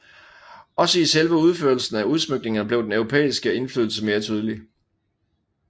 Også i selve udførelsen af udsmykningerne blev den europæiske indflydelse mere tydelig